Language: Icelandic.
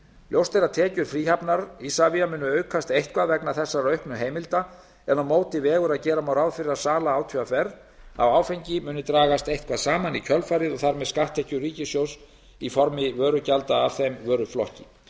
ljóst er að tekjur fríhafnar isavia munu aukast eitthvað vegna þessara auknu heimilda en á móti vegur að gera má ráð fyrir að sala átvr á áfengi muni dragast eitthvað saman í kjölfarið og þar með skatttekjur ríkissjóðs í formi vörugjalda af þeim vöruflokki